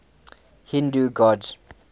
hindu gods